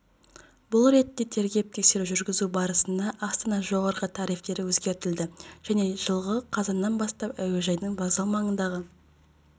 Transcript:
бұл ретте тергеп-тексеру жүргізу барысында астана жоғары тарифтері өзгертілді енді жылғы қазаннан бастап әуежайдың вокзал маңындағы